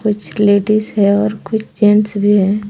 कुछ लेडीज हैं और कुछ जेंट्स भी हैं।